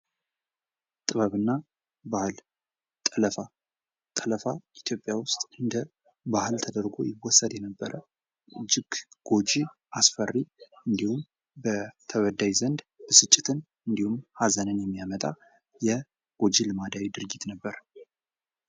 ጥበብ እና ባህል ጠለፋ። ጠለፋ ኢትዮጵያ ውስጥ እንደ ባህል ተደርጎ ይወሰድ የነበረ እጅግ ጎጂ፣ አስፈሪ እንዲሁም በተበዳይ ዘንድ ብስጭትን እንዲሁም ኀዘንን የሚያመጣ የጐጂ ልማዳዊ ድርጊት ነበር።